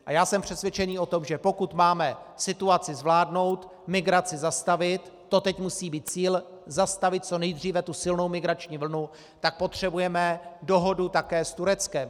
A já jsem přesvědčen o tom, že pokud máme situaci zvládnout, migraci zastavit - to teď musí být cíl, zastavit co nejdříve tu silnou migrační vlnu -, tak potřebujeme dohodu také s Tureckem.